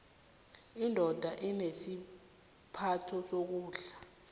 indoda inesibopho sokondla